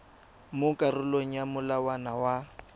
mo karolong ya molawana wa